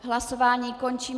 Hlasování končím.